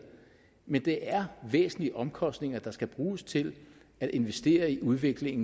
men det er væsentlige omkostninger der skal bruges til at investere i udvikling